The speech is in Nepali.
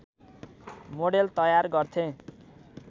मोडेल तयार गर्थे